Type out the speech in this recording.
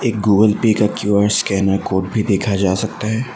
Google Pay का Q R scanner code भी देखा जा सकता है।